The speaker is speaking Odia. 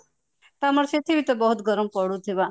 ତମର ସେଠିବି ତ ବହୁତ ଗରମ ପଡୁଥିବା